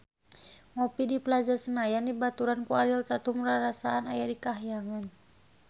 Ngopi di Plaza Senayan dibaturan ku Ariel Tatum rarasaan aya di kahyangan